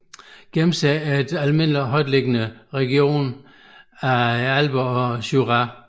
Gemse er almindelig i højtliggende regioner af Alperne og Jura